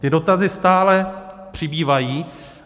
Ty dotazy stále přibývají.